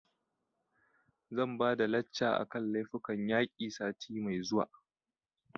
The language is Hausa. Zan ba da lacca a kan laifukan yaƙi sati mai zuwa